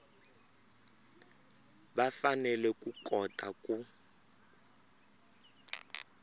va fanele ku kota ku